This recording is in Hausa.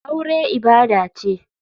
Aure ibada ce.